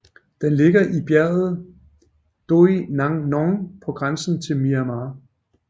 Den ligger i bjerget Doi Nang Non på grænsen til Myanmar